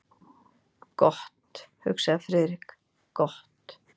Gott, hugsaði Friðrik, gott.